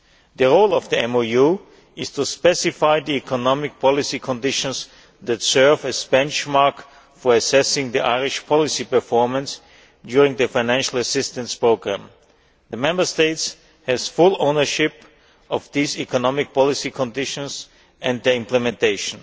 The role of the MOU is to specify the economic policy conditions that serve as a benchmark for assessing the Irish policy performance during the financial assistance programme. The Member State has full ownership of these economic policy conditions and their implementation.